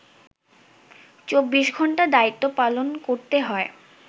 ২৪ ঘণ্টা দায়িত্ব পালন করতে হয়